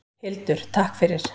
Hildur: Takk fyrir.